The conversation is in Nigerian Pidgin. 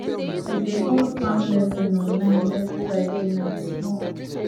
we dey hold farm lesson online every friday night small